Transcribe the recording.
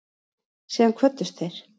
Síðan kvöddust þeir.